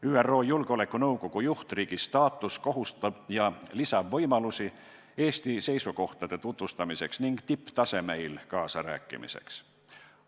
ÜRO Julgeolekunõukogu juhtriigi staatus kohustab ja lisab võimalusi Eesti seisukohtade tutvustamiseks ning tipptasemel kaasa rääkimiseks.